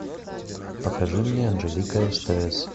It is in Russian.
покажи мне анжелика стс